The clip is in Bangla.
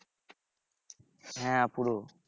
হ্যাঁ পুরো